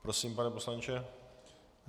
Prosím, pane poslanče.